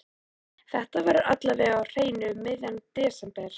Þetta verður alla vega á hreinu um miðjan desember.